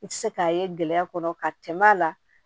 I tɛ se k'a ye gɛlɛya kɔnɔ ka tɛmɛ a la